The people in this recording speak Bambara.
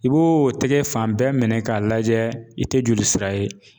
I b'o o tɛgɛ fan bɛɛ minɛ k'a lajɛ i tɛ jolisira ye